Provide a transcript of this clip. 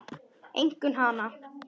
Einkum hana.